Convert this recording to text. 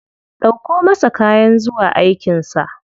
Ɗauko masa kayan zuwa aikin sa.